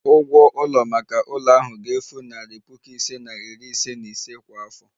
Ụgwọ ụlọ maka ụlọ ahụ ga-efu narị puku ise na iri ise na ise kwa afọ